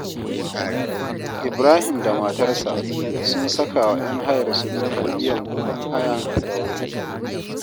Ibrahim da matarsa sun saka wa ‘yan hayarsu dokar biyan kuɗin haya da wuri